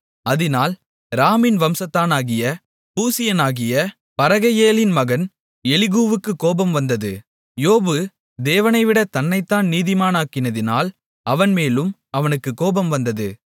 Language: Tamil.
அதினால் ராமின் வம்சத்தானாகிய பூசியனாகிய பரகெயேலின் மகன் எலிகூவுக்குக் கோபம் வந்தது யோபு தேவனைவிடத் தன்னைத்தான் நீதிமானாக்கினதினால் அவன்மேலும் அவனுக்குக் கோபம் வந்தது